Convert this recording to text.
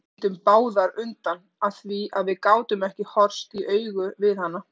Við litum báðar undan af því að við gátum ekki horfst í augu við hana.